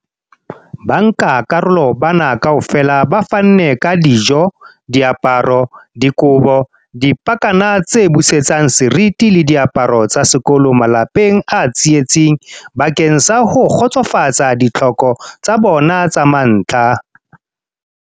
Bankakarolo bana kaofela ba fanne ka dijo, diaparo, dikobo, dipakana tse busetsang seriti le diaparo tsa sekolo malapeng a tsietsing bakeng sa ho kgotsofatsa ditlhoko tsa bona tsa mantlha.